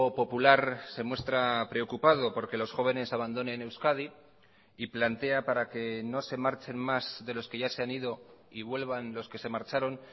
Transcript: popular se muestra preocupado porque los jóvenes abandonen euskadi y plantea para que no se marchen más de los que ya se han ido y vuelvan los que se marcharon